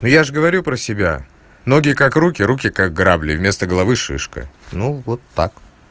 ну я же говорю про себя ноги как руки руки как грабли вместо головы шишка ну вот так